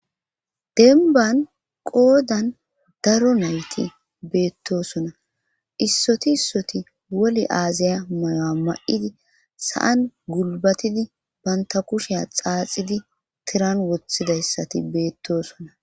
Dembban qoodan daro nayti beettoosona issoti issoti woli aaziya mayuwa may7idi sa7an gulbatidi bantta kushiya xaaxidi tiran wothidayssati beettoosona.